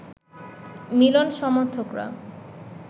Milan সমর্থকরা